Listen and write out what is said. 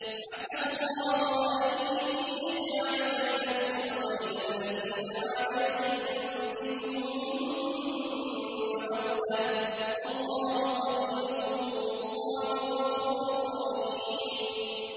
۞ عَسَى اللَّهُ أَن يَجْعَلَ بَيْنَكُمْ وَبَيْنَ الَّذِينَ عَادَيْتُم مِّنْهُم مَّوَدَّةً ۚ وَاللَّهُ قَدِيرٌ ۚ وَاللَّهُ غَفُورٌ رَّحِيمٌ